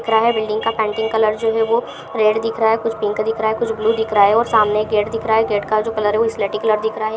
Building का painting colour जो है वो रेड दिख रहा है कुछ पिंक दिख रहा है कुछ ब्लू दिख रहा है और सामने गेट गेट का जो कलर है वो स्लेटी कलर दिख रहा है।